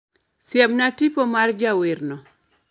Siemna tipo mar jawerno